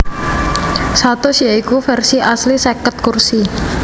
satus ya iku versi asli seket kursi